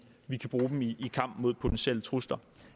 vi kan bruge dem i kampen mod potentielle trusler